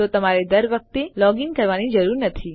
તો તમારે દર વખતે લોગ ઇન કરવાની જરૂર નથી